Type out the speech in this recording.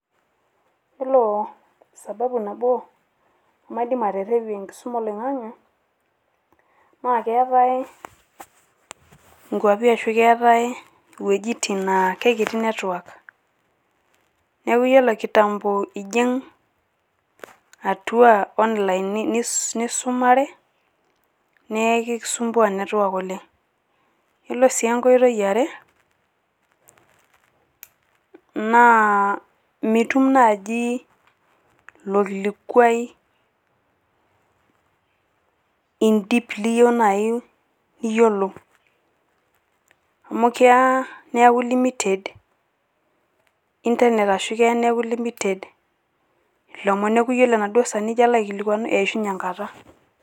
iyiolo sababu nabo nemaidim aterepie enkisuma olong'ang'e, naa keetae nkwapi ashu keetae iweujitin, naa kikiti network .neeku iyiolo kitambo ijing' atua online nisumare, naa ekisumbua network oleng. kelo sii enkoitoi yiare, naa mitum naaji ilo kilikuai in deep niyiueu naaji niyiolou, amu keya neeku limited internet ,ashu l imited ilomno, neeku ore ijo alo aikilikuanu eishunye enkata.